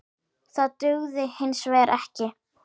Það dugði hins vegar ekki.